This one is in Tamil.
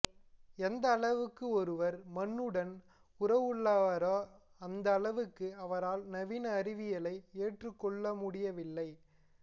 எந்த அளவுக்கு ஒருவர் மண்ணுடன் உறவுள்ளவரோ அந்த அளவுக்கு அவரால் நவீன அறிவியலை ஏற்றுக்கொள்ளமுடியவில்லை